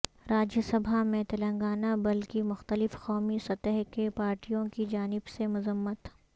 راجیہ سبھا میں تلنگانہ بل کی مختلف قومی سطح کے پارٹیوں کی جانب سے مذمت